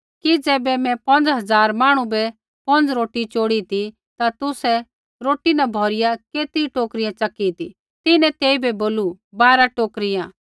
कि ज़ैबै मैं पौंज़ झ़ार मांहणु बै पौंज़ रोटी चोड़ी ती ता तुसै रोटी न भौरिया केतरी टोकरियाँ च़की ती तिन्हैं तेइबै बोलू बारा टोकरियाँ